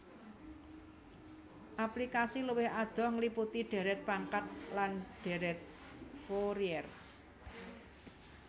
Aplikasi luwih adoh ngliputi dhèrèt pangkat lan dhèrèt Fourier